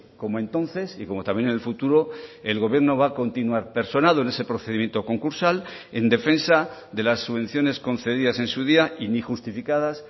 como entonces y como también en el futuro el gobierno va a continuar personado en ese procedimiento concursal en defensa de las subvenciones concedidas en su día y ni justificadas